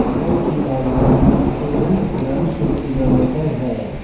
केरल की राजधानी तिरुवनंतपुरम से किलोमीटर है